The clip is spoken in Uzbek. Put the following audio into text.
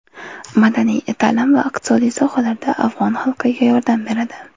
Madaniy, ta’lim va iqtisodiy sohalarda afg‘on xalqiga yordam beradi.